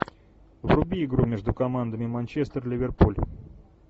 вруби игру между командами манчестер ливерпуль